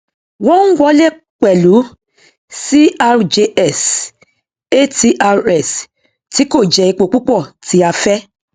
wọn ń wọlé pẹlú crjs atrs tí kò jẹ epo púpọ tí a fẹ